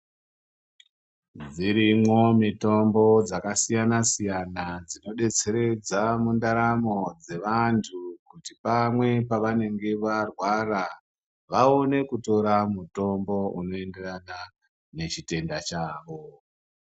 Dzirimwo mitombo dzakasiyana siyana dzinodetseredza mundaramo dzevantu kuti pamwe pavanenge varwara vaone kutora mutombo unoenderana nechitenda chawo.